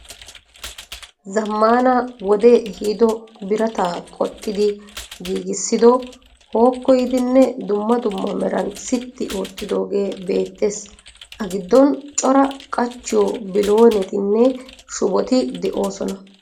Zammana wodee ehiiddo birata qoxxidi giggissido, hookkoyidinne dumma dumma meran siti oottiddogee beettees. A giddon cora qachchiyo biloonetinne shuboti de'oosona.